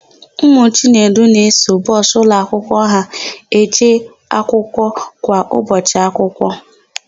Ụmụ Chinedu na-eso bọsụ ụlọakwụkwọ ha eje akwụkwọ kwa ụbọchị akwụkwọ.